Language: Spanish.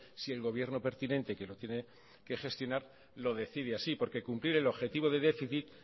si el gobierno pertinente que lo tiene que gestionar lo decide así porque cumplir el objetivo de déficit